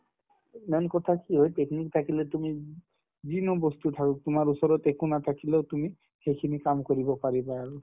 main কথা কি হয় technique থাকিলে তুমি যিকোনো বস্তু থাকক তোমাৰ ওচৰত একো নাথাকিলেও তুমি সেইখিনি কাম কৰিব পাৰিবা আৰু